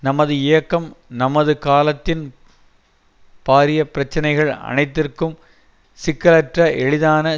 நமது இயக்கம் நமது காலத்தின் பாரிய பிரச்சனைகள் அனைத்திற்கும் சிக்கலற்ற எளிதான